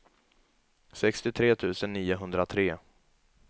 sextiotre tusen niohundratre